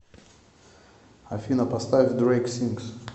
афина поставь дрэйк синс